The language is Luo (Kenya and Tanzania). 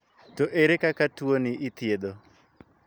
To ere kaka tuo ni ithiedho?